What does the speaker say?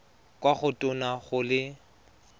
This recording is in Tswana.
kwa go tona go le